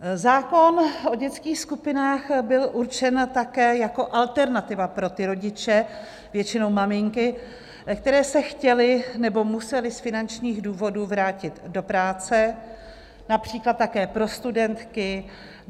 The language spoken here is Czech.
Zákon o dětských skupinách byl určen také jako alternativa pro ty rodiče, většinou maminky, které se chtěly nebo musely z finančních důvodů vrátit do práce, například také pro studentky.